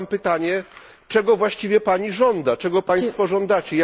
Mam pytanie, czego właściwie Pani żąda? Czego Państwo żądacie?